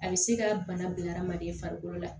A bɛ se ka bana bila hadamaden farikolo la